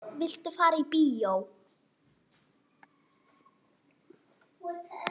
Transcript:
Viltu fara í bíó?